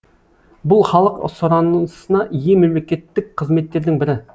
бұл халық сұранысына ие мемлекеттік қызметтердің бірі